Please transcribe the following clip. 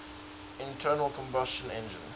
internal combustion engine